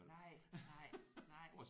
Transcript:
Nej nej nej